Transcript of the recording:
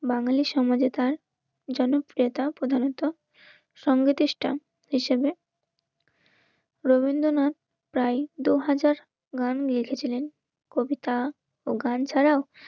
বাঙালির সমাজে তার যেন ক্রেতা প্রধানিত. সঙ্গীতিষ্ঠা হিসেবে. রবীন্দ্রনাথ প্রায় দুহাজার গান নিয়ে এসেছিলেন কবিতা ও গান ছাড়াও